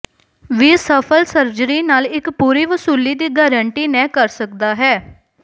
ਵੀ ਸਫਲ ਸਰਜਰੀ ਨਾਲ ਇੱਕ ਪੂਰੀ ਵਸੂਲੀ ਦੀ ਗਾਰੰਟੀ ਨਹ ਕਰ ਸਕਦਾ ਹੈ